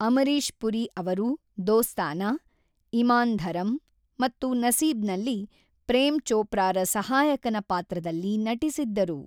ಅಮರೀಶ್ ಪುರಿ ಅವರು ದೋಸ್ತಾನಾ, ಇಮಾನ್ ಧರಮ್ ಮತ್ತು ನಸೀಬ್‌ನಲ್ಲಿ ಪ್ರೇಮ್ ಚೋಪ್ರಾರ ಸಹಾಯಕನ ಪಾತ್ರದಲ್ಲಿ ನಟಿಸಿದ್ದರು.